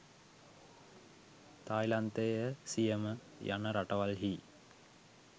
තායිලන්තය සියම යන රටවල්හි